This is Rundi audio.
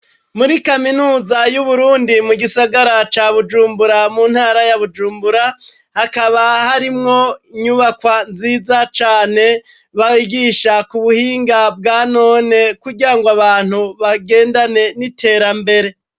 Muri kaminuza y'Uburundi mu gisagara ca Bujumbura mu ntara ya Bujumbura, hakaba harimwo inyubakwa nziza cane bagisha kubuhinga bwa none kugirango abantu bagendane n'iterambere.